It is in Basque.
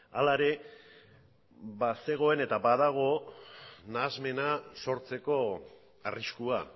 hala ere bazegoen eta badago nahasmena sortzeko arriskua